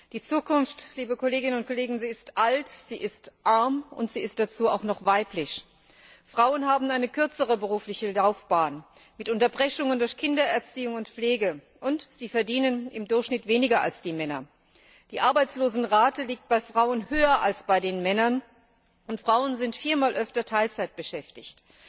Die Zukunft ist alt, sie ist arm, und sie ist dazu auch noch weiblich. Frauen haben eine kürzere berufliche Laufbahn, mit Unterbrechungen durch Kindererziehung und Pflege. Und sie verdienen im Durchschnitt weniger als Männer. Die Arbeitslosenrate liegt bei Frauen höher als bei Männern, und Frauen sind viermal öfter teilzeitbeschäftigt.